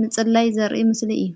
ምጽላይ ዘርኢ ምስሊ እዩ::